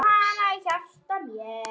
Geymi hana í hjarta mér.